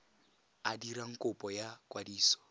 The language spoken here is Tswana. a dirang kopo ya kwadiso